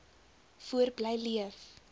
voort bly leef